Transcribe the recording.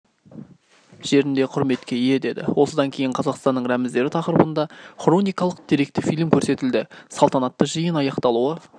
жерінде құрметке ие деді осыдан кейін қазақстанның рәміздері тақырыбында хроникалық-деректі фильм көрсетілді салтанатты жиын аяқталуы